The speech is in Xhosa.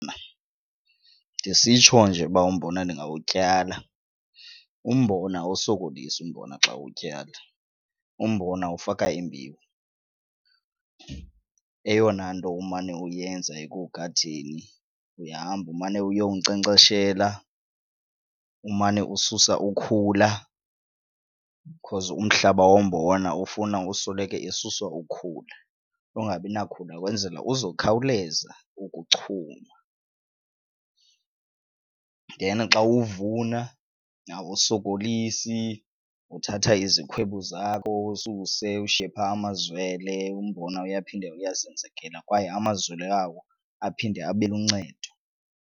Ndisitsho nje uba umbona ndingawutyala, umbona awusokolisi umbona xa uwutyala. Umbona ufaka imbewu, eyona nto umane uyenza ekuwugadeni uyahamba umane uyowunkcenkceshela umane ususa ukhula because umhlaba wombona ufuna usoloko esuswa ukhula lungabi nakhula ukwenzela uzokhawuleza ukuchuma. Then xa uwuvuna awusokolisi uthatha izikhwebu zakho ususe ushiye phaa amazwele, umbona uyaphinde uyazenzekela kwaye amazwele awo aphinde abe luncedo.